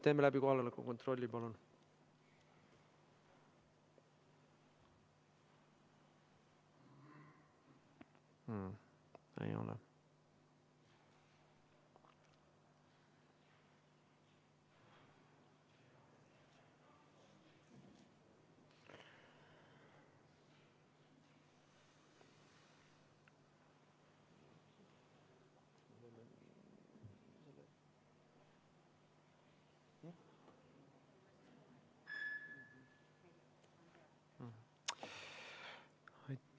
Teeme kohaloleku kontrolli, palun!